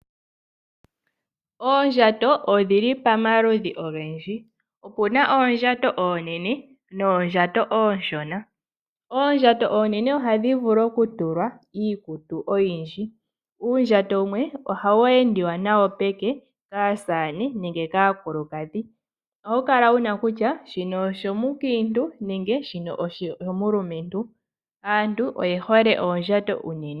Oondjato odhi li pamaludhi ogendji. Opuna oondjato oonene noondjato oonshona. Oondjato oonene ohadhi vulu okutulwa iikutu oyindji uundjato wumwe ohawu endiwa nawo peke kaasamane nenge kaakulukadhi. Ohawu kala wuna kutya shino oshomukiintu nenge shino oshomulumentu. Aanyu oye hole oondjato unene